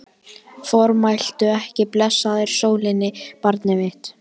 Formæltu ekki blessaðri sólinni, barnið mitt.